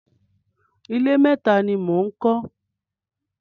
Ilé méta ni mò ń kọ́.